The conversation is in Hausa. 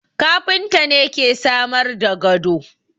Kafinta ne ke samar da gado